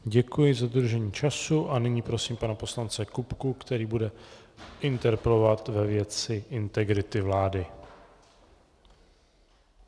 Děkuji za dodržení času a nyní prosím pana poslance Kupku, který bude interpelovat ve věci integrity vlády.